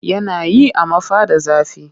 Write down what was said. Yana yi amma fa da zafi